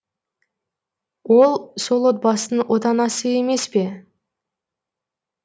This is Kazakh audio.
ол сол отбасының отанасы емес пе